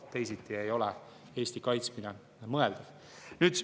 Teisiti ei ole Eesti kaitsmine mõeldav.